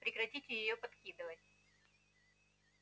прекратите её подкидывать